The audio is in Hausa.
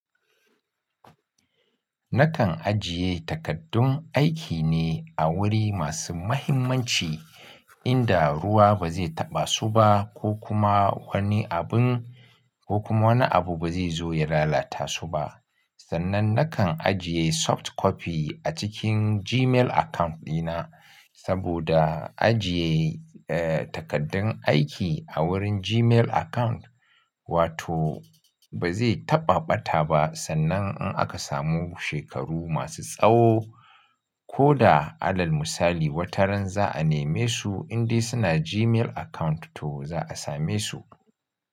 Nakan ajiye takaddun aiki ne a wuri masu muhimmanci inda ruwa ba zai taɓa su ba ko kuma wani abun ko kuma wani abu ba zai zo ya lalata su ba. Sannan nakan ajiye soft copy a cikin Gmail account dina, saboda ajiye, eh, takaddun aiki a wurin Gmail account, wato ba zai taɓa ɓata ba sannan in aka samu shekaru masu tsaho, ko da alal misali wata ran za a neme su indai suna Gmail account to za a same su.